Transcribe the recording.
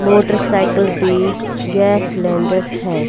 Motor cycle पे gas cylinder है।